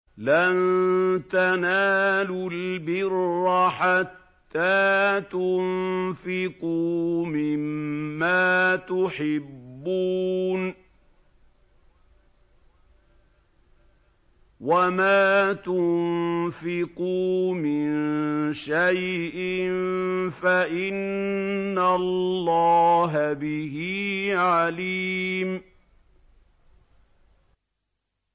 لَن تَنَالُوا الْبِرَّ حَتَّىٰ تُنفِقُوا مِمَّا تُحِبُّونَ ۚ وَمَا تُنفِقُوا مِن شَيْءٍ فَإِنَّ اللَّهَ بِهِ عَلِيمٌ